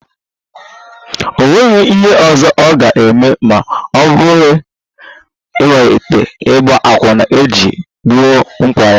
O nweghị ihe ọzọ ọ ga-eme ma ọ bụghị ịmalite ịgba akwụna iji gboo mkpa ha